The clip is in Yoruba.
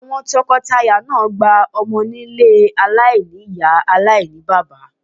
Tọkọtaya náà gba ọmọ nílé ọmọ aláìní-Ìyá aláìní-bàbá.